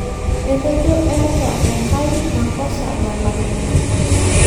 Etejo eeta enkai makosa nalang' ina